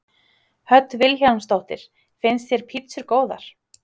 Hödd Vilhjálmsdóttir: Finnst þér pítsur góðar?